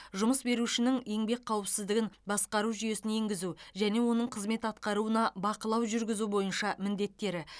жұмыс берушінің еңбек қауіпсіздігін басқар жүйесін енгізу және оның қызмет атқаруына бақылау жүргізу бойынша міндеттері